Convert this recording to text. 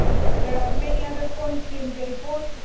There are many other points in the report.